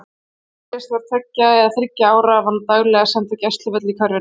Þegar Íris var tveggja eða þriggja ára var hún daglega send á gæsluvöll í hverfinu.